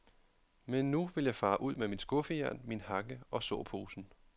Men nu vil jeg fare ud med mit skuffejern, min hakke og såposen.